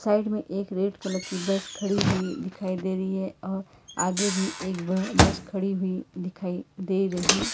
side में एक red colour की बस खड़ी हुई दिखाई दे रही है और आगे भी एक ब बस खड़ी हुई दिखाई दे रही--